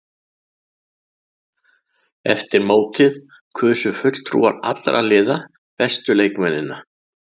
Eftir mótið kusu fulltrúar allra liða bestu leikmennina.